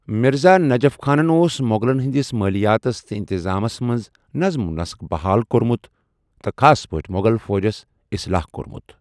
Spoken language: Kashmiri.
مِرزا نجف خانَن اوس مو٘غلَن ہٕنٛدِس مٲلیاتس تہٕ انتظامیَس منٛز نظم و ضبطُ بحال کوٚرمُت تہٕ خاص پٲٹھہِ مو٘غل فوجٕس اصلاح کورمٗت ۔